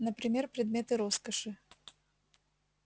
например предметы роскоши